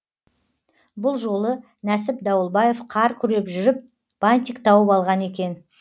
бұл жолы нәсіп дауылбаев қар күреп жүріп бантик тауып алған екен